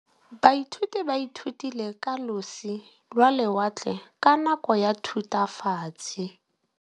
Baithuti ba ithutile ka losi lwa lewatle ka nako ya Thutafatshe.